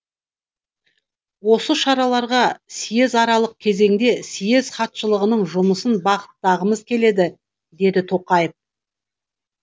осы шараларға съезаралық кезеңде съез хатшылығының жұмысын бағыттағымыз келеді деді тоқаев